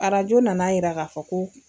Arajo nana yira ka fɔ ko